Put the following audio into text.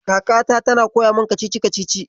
Kakata tana koya min kacici-kacici.